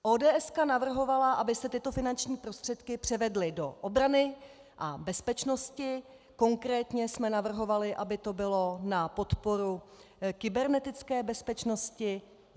ODS navrhovala, aby se tyto finanční prostředky převedly do obrany a bezpečnosti, konkrétně jsme navrhovali, aby to bylo na podporu kybernetické bezpečnosti.